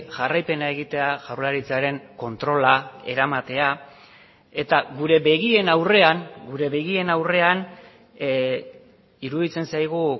jarraipena egitea jaurlaritzaren kontrola eramatea eta gure begien aurrean gure begien aurrean iruditzen zaigu